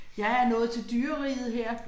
Jeg er nået til dyreriget her